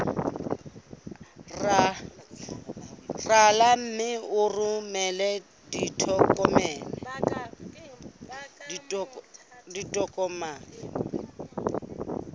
rala mme o romele ditokomene